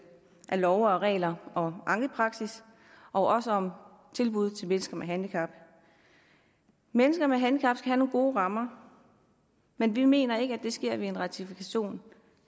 af love og regler og ankepraksis og også om tilbud til mennesker med handicap mennesker med handicap skal have nogle gode rammer men vi mener ikke at det sker ved en ratifikation